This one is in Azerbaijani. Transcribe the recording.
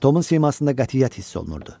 Tomun simasında qətiyyət hiss olunurdu.